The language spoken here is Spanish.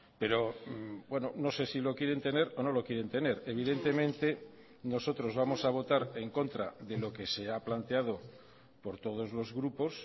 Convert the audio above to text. pero no sé si lo quieren tener o no lo quieren tener evidentemente nosotros vamos a votar en contra de lo que se ha planteado por todos los grupos